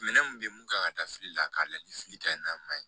Minɛn mun bɛ ye mun kan ka taa fili la k'a layɛ ni fili ka ɲi n'a ma ɲi